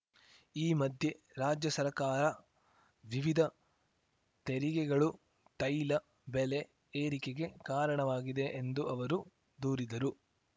ಈ ಮಧ್ಯೆ ರಾಜ್ಯ ಸರ್ಕಾರ ವಿವಿಧ ತೆರಿಗೆಗಳೂ ತೈಲ ಬೆಲೆ ಏರಿಕೆಗೆ ಕಾರಣವಾಗಿದೆ ಎಂದು ಅವರು ದೂರಿದರು